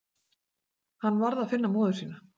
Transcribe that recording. Hann varð að finna móður sína.